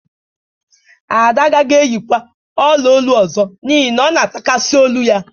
Ada agaghị eyikwa ọla olu ọzọ n'ihi na ọ na-atakasị olu ya